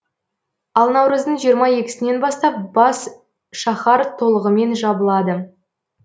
ал наурыздың жиырма екісінен бастап бас шаһар толығымен жабылады